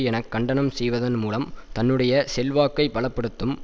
என கண்டனம் செய்வதன் மூலம் தன்னுடைய செல்வாக்கை பல படுத்தும்